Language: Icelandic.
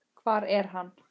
Hvar er hann?